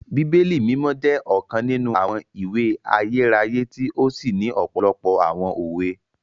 Bíbélì Mimọ jẹ ọkan ninu awọn ìwé ayérayé ti o sí ni òpòlopò awọn òwe